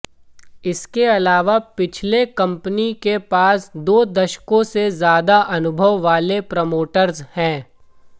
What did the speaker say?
इसके अलावा पिछले कंपनी के पास दो दशकों से ज्यादा अनुभव वाले प्रोमोटर्स हैं